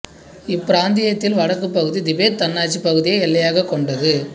இப்பிராந்தியத்தில் வடக்குப் பகுதி திபெத் தன்னாட்சி பகுதியை எல்லையாகக் கொண்டது